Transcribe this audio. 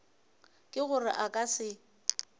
ke gore a ka se